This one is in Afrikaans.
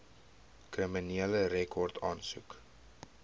kriminele rekord aansoek